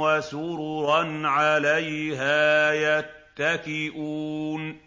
وَسُرُرًا عَلَيْهَا يَتَّكِئُونَ